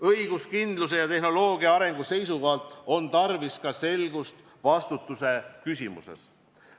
Õiguskindluse ja tehnoloogia arengu seisukohalt on tarvis selgust ka vastutuse küsimuses.